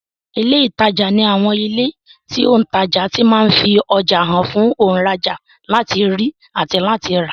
Ilé ìtajà ní àwọn ilé tí òùntajà ti ma ń fi ọjà hàn fún òùnrajà láti rí àti láti rà